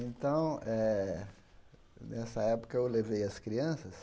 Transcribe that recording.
Então eh, nessa época, eu levei as crianças.